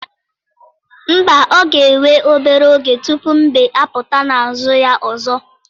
Mba ọ ga-ewe obere oge tupu mbe apụta na ázụ̀ ya ọzọ.